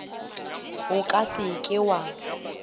o ka se ke wa